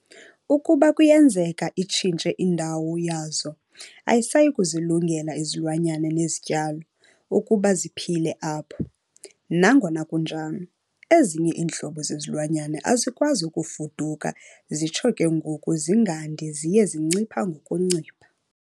Ukuba kuyenzeka itshintshe indawo yazo, ayisayikuzilungela izilwamyana nezityalo ukuba ziphile apho. Nangona kunjalo, ezinye iintlobo zezilwanyana azikwazi ukufuduka zitsho ke ngoku zingandi ziye zincipha ngokuncipha.